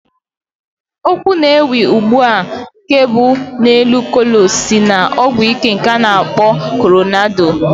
Okwu na-ewu ugbu a nke bụ "n'elu Kolos" si na a ọgwụíké nke a na-akpọ Kolorado